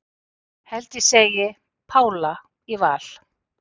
Held ég segi Pála í Val